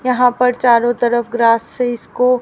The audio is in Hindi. यहां पर चारों तरफ ग्रास से इसको--